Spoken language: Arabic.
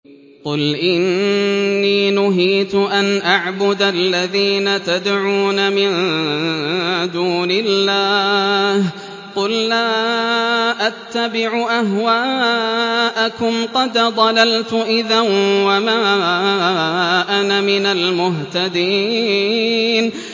قُلْ إِنِّي نُهِيتُ أَنْ أَعْبُدَ الَّذِينَ تَدْعُونَ مِن دُونِ اللَّهِ ۚ قُل لَّا أَتَّبِعُ أَهْوَاءَكُمْ ۙ قَدْ ضَلَلْتُ إِذًا وَمَا أَنَا مِنَ الْمُهْتَدِينَ